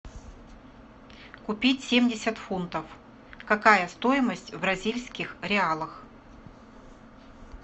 купить семьдесят фунтов какая стоимость в бразильских реалах